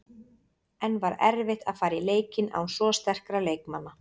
En var erfitt að fara í leikinn án svo sterkra leikmanna?